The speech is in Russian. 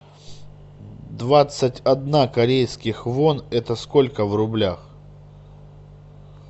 двадцать одна корейских вон это сколько в рублях